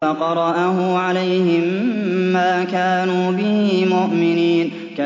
فَقَرَأَهُ عَلَيْهِم مَّا كَانُوا بِهِ مُؤْمِنِينَ